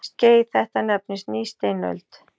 Skeið þetta nefnist nýsteinöld.